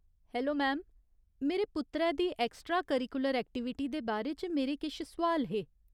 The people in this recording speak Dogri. हैलो, मैम, मेरे पुत्तरै दी एक्स्ट्रा करिकुलर ऐक्टिविटी दे बारे च मेरे किश सोआल हे।